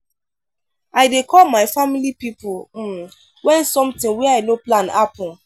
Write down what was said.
i dey call my family pipo um wen sometin wey i no plan happen.